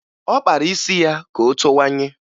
Ọ kpara isi ya ka o towanye